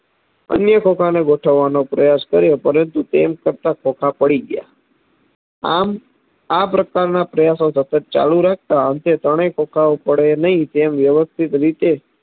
અન્ય ખોખાને ગોઠવવાનો પ્રયાસ કર્યો પરંતુ તેમ કરતા ખોખા પડી ગયા આમ આપ્રકારના પ્રયાસો ચાલુરાખતા અંતે ત્રણેય ખોખાઓ પડે નહિ તેમ વ્યવસ્થિત રીતે